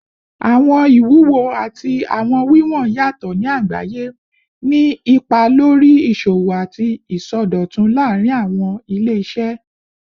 Awọn iwuwo ati awọn wiwọn yatọ ni agbaye, ni ipa lori iṣowo ati isọdọtun laarin awọn ile-iṣẹ